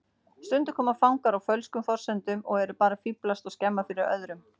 Stundum koma fangar á fölskum forsendum og eru bara að fíflast og skemma fyrir öðrum.